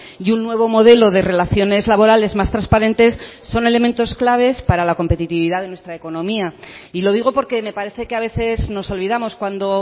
y un nuevo modelo de relaciones laborales más transparentes son elementos claves para la competitividad de nuestra economía y lo digo porque me parece que a veces nos olvidamos cuando